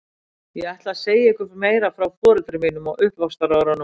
Ég ætla að segja ykkur meira frá foreldrum mínum og uppvaxtarárunum á